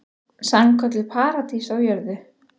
Sannkölluð paradís á jörðu.